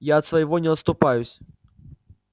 я от своего не отступаюсь